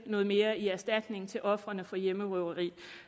noget mere i erstatning til ofrene for hjemmerøverier